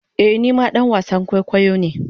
Ee ni ma dan wasan kwaikwayo ne.